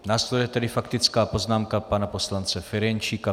Následuje tedy faktická poznámka pana poslance Ferjenčíka.